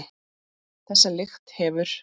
Þessa lykt hefur